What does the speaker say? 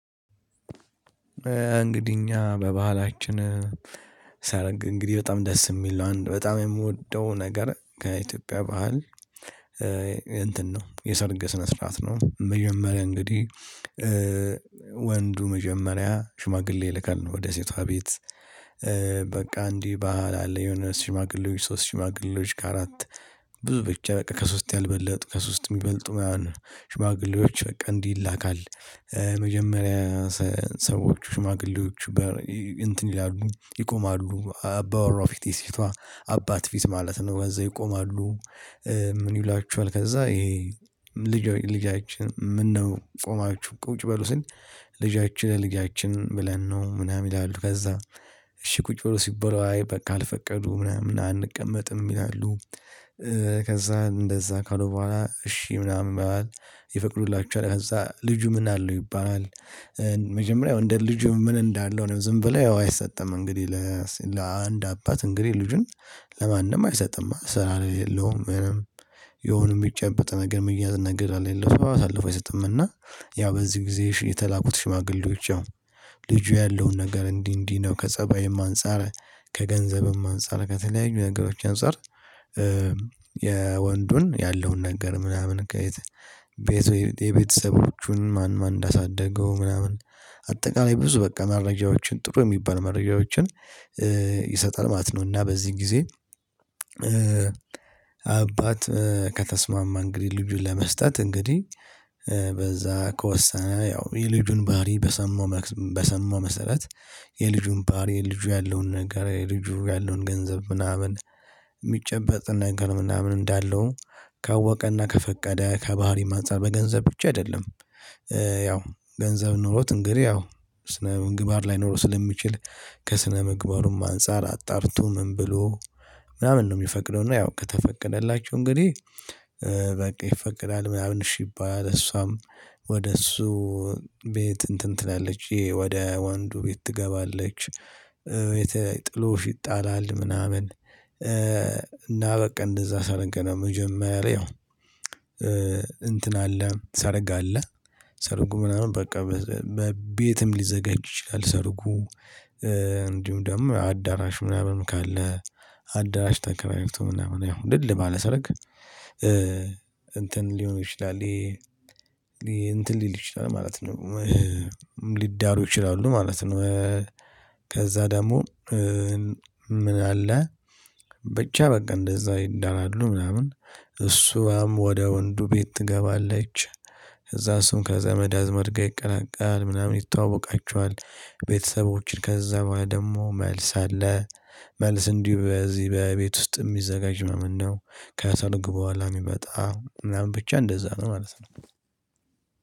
እንግዲህ እኛ በባህላችን ሰርግ እንግዲህ በጣም ደስ ሚል ነው አንድ በጣም የምወደው ነገር ከኢትዮጵያ ባህል። እንትን ነው የሰርግ ስነ ስርዓት ነው። መጀመሪያ እንግዲህ ወንዱ መጀመሪያ ሽማግሌ ይልካል ወደ ሴቷ ቤት። በቃ እንዲህ ባህል አለ የሆነ ሽማግሌዎች ሶስት ሽማግሌዎች ከአራት ብዙ ብቻ በቃ ከሶስት ያልበለጡ ከሶስት ሚበልጡ ማለት ነው። ሽማግሌዎች በቃ እንዲህ ይላካል። መጀመሪያ ሰዎች ሽማግሌዎች በር እንትን ይላሉ ይቆማሉ አባወራው ፊት የሴቷ አባት ፊት ማለት ነው ከዛ ይቆማሉ። ምን? ይሏችኋል ከዛ ይሄ ልጃችን ለ ልጃችን ብለን ነው ቆማችሁ ቁጭ በሉ ስል ልጃችን ለልጃችን ብለን ነው ምናምን ይላሉ ከዛ እሺ ቁጭ በሉ ሲባሉ አይ በቃ ካልፈቀዱ ምናምን አንቀመጥም ይላሉ። ከዛ እንደዛ ካሉ በኋላ እሺ ምናምን ይባላል። ይፈቅዱላቸዋል እዛ ልጁ ምን አለው ይባላል? መጀመሪያ እንደ ልጁ ምን እንዳለው ዝም ብለው አይሰጥም እንግዲህ። ለአንድ አባት እንግዲህ ልጁን ለማንም አይሰጥም ስራ ለሌውም ምንም የሆነ ሚጨበጠው ነገር ሚያዝ ነገር ከሌለ ሰው አሳልፎ አይሰጥም። እና ያው በዚህ ጊዜ የተላኩት ሽማግሌዎች ያው ልጁ ያለውን ነገር እንዲህ እንዲህ ነው ከፀባይም አንፃር ከገንዘብም አንፃር ከተለያዩ ነገሮች አንፃር። የወንዱን ያለውን ነገር ምናምን ከየት? የቤተሰቦቹን ማን ማን እንዳሳደገው ምናምን? አጠቃላይ ብዙ በቃ መረጃዎችን ጥሩ ሚባሉ መረጃዎችን ይሰጣል ማለት ነው። እና በዚህ ጊዜ አባት ከተስማማ እንግዲህ ልጁን ለመስጠት እንግዲህ በዛ ከወሰነ ያው የልጁን ባህሪ በሰማው በሰማው መሰረት። የልጁን ባህሪ ልጁ ያለውን ነገር ልጁ ያለውን ገንዘብ ምናምን ሚጨበጥ ነገር ምናምን እንዳለው። ካወቀና ከፈቀደ ከባህሪም አጻር በገንዘብ ብቻ አይደለም። ያው ገንዘብ ኖሮት እንግዲህ ያው ስነ ምግባር ላይኖረው ስለሚችል። ከስነ ምግባሩም አንፃር አጣርቶ ምን ብሎ? ምናምን ነው የሚፈቅደው እና ያው ከተፈቀደላቸው እንግዲህ በቃ ይፈቀዳል ምናምን እሺ ይባላል። እሷም ወደ እሱ ቤት እንትን ትላለች ወደ ወንዱ ቤት ትገባለች። ጥሎሽ ይጣላል ምናምን። እና በቃ እንደዛ ሰርግ ነው። መጀመሪያ ላይ ያው እንትን አለ ሰርግ አለ። ሰርጉ ምናምን በቃ በቤትም ሊዘጋጅ ይችላል ሰርጉ። እንዲሁም ደግሞ አዳራሽ ምናምን ካለ አዳራሽ ተከራይቶ ምናምን ያው ድል ባለ ሰርግ እንትን ሊሆን ይችላል። ይሄ እንትን ሊል ይችላል ማለት። ነው ሊዳሩ ይችላሉ ማለት ነው። ከዛ ደግሞ ምን አለ? ብቻ በቃ እንደዛ ይዳራሉ ምናምን እሷም ወደ ወንዱ ቤት ትገባለች። እዛ እሱም ከዘመድ አዝማድ ጋር ይቀላቀላል ምናምን ይተወቃቸዋል። ቤተሰቦችን ከዛ ደግሞ መልስ አለ። መልስ እንዲሁ በዚህ በቤት ውስጥ ሚዘጋጅ ምናምን ነው። ከሰርግ በኋላ ሚመጣ ምናምን ብቻ እንደዛ ነው ማለት ነው።